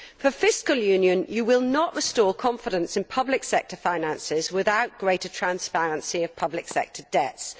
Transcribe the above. For fiscal union, you will not restore confidence in public sector finances without greater transparency on public sector debts.